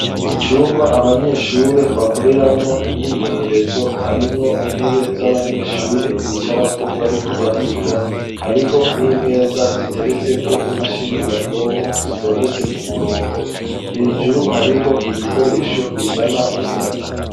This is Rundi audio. Icumba abanyeshure bakoreramwo imyimenyerezo harimwo intebe z'abanyeshure bicara ko bariko bariga hariho n'imeza ziteretse ko imashini nyabwonko zitondetse ku murongo hejuru hariho ibikoresho bizana umuyaga.